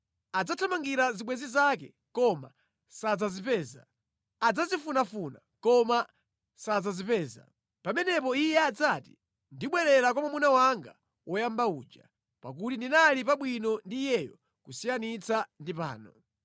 Adzathamangira zibwenzi zake koma sadzazipeza; adzazifunafuna koma sadzazipeza. Pamenepo iye adzati, ‘Ndibwerera kwa mwamuna wanga woyamba uja, pakuti ndinali pabwino ndi iyeyo kusiyanitsa ndi pano.’